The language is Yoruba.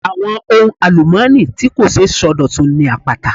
Àwọn ohun àlùmọ́ọ́nì tí kò ṣeé sọdọ̀tun ni àpáta.